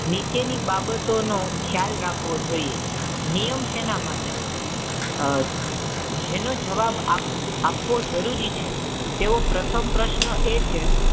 નીચેની બાબતોનો ખ્યાલ રાખવો જોઈએ. નિયમ શેના માટે હોય? આહ જેનો જવાબ આપવો જરૂરી છે તેઓ પ્રથમ પ્રશ્ન એ છે,